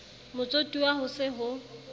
motsotuwa ho se ho se